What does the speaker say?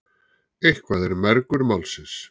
Eitthvað er mergur málsins